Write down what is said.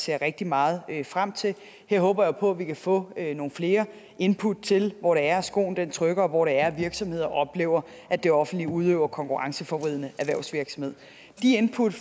jeg rigtig meget frem til her håber jeg på at vi kan få nogle flere input til hvor det er skoen trykker og hvor det er virksomheder oplever at det offentlige udøver konkurrenceforvridende erhvervsvirksomhed input